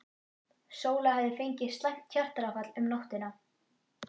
Sóla hefði fengið slæmt hjartaáfall um nóttina.